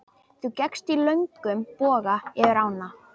Þú gekkst í löngum boga yfir ána.